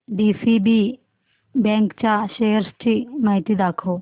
DCB bank च्या shares ची माहिती दाखव